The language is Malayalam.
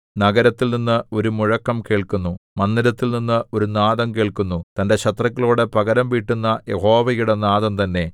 നഗരത്തിൽനിന്ന് ഒരു മുഴക്കം കേൾക്കുന്നു മന്ദിരത്തിൽനിന്ന് ഒരു നാദം കേൾക്കുന്നു തന്റെ ശത്രുക്കളോടു പകരംവീട്ടുന്ന യഹോവയുടെ നാദം തന്നെ